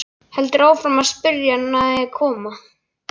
Heldur áfram að spyrja hvert hann eigi að koma.